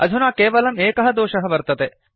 अधुना केवलं एकः दोषः वर्तते